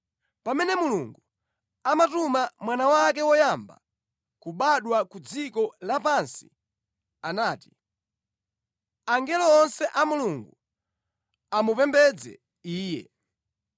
Pamene Mulungu amatuma Mwana wake woyamba kubadwa ku dziko lapansi anati, “Angelo onse a Mulungu amupembedze Iye.”